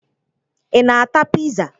Ị na-ata piza?